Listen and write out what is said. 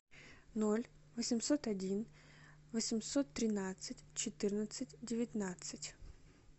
ноль восемьсот один восемьсот тринадцать четырнадцать девятнадцать